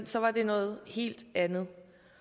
så var det noget helt andet